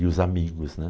E os amigos, né?